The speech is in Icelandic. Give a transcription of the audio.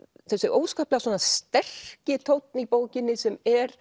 þessi óskaplega sterki tónn í bókinni sem er